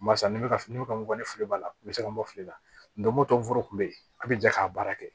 Barisa ne bɛ ka fini bɛ ka ne fili b'a la n bɛ se ka bɔ fili la don go don foro kun bɛ yen a bɛ jɛ k'a baara kɛ